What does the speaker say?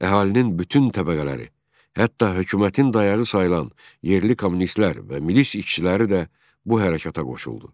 Əhalinin bütün təbəqələri, hətta hökumətin dayağı sayılan yerli kommunistlər və milis işçiləri də bu hərəkəta qoşuldu.